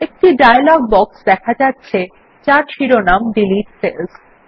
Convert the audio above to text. একটি dialog box দেখা যাচ্ছে যার শিরোনাম ডিলিট সেলস